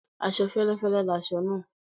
Aṣọ féléfélé láṣọ nàà